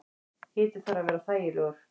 Hiti þarf að vera þægilegur.